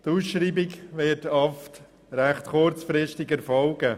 Die Ausschreibung wird oft recht kurzfristig erfolgen.